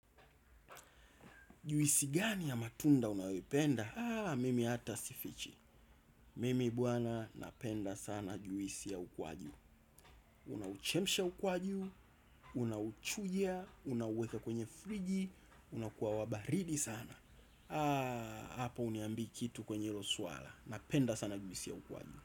Juisi gani ya matunda unayoipenda? Mimi hata sifichi. Mimi bwana napenda sana juisi ya ukwaju. Unauchemsha ukwaju, unauchuja, unauweka kwenye friji, unakuwa wabaridi sana. Hapo huniambi kitu kwenye hilo swala. Napenda sana juisi ya ukwaju.